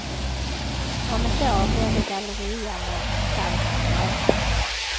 Om ett år blir det galleria med detaljhandel även där.